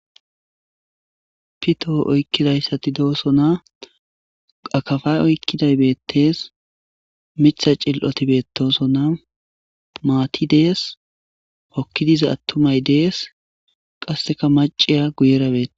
Pitto oykidaysaatti dossonna akappa oykiday beetes miiththa xili'otti beetosonna maatti dees hooki diza attumay dees qasekka maciya guyera beetawus